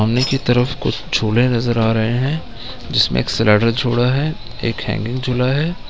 सामने की तरफ कुछ झूले नजर आ रहे हैं जिसमे एक स्लाइडर झुला है एक हैंगिंग झुला है।